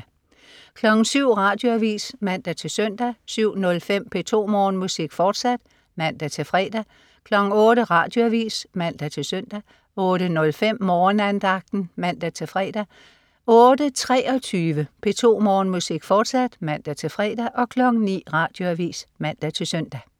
07.00 Radioavis (man-søn) 07.05 P2 Morgenmusik, fortsat (man-fre) 08.00 Radioavis (man-søn) 08.05 Morgenandagten (man-fre) 08.23 P2 Morgenmusik, fortsat (man-fre) 09.00 Radioavis (man-søn)